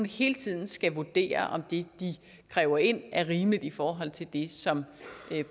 hele tiden skal vurdere om det de kræver ind er rimeligt i forhold til det som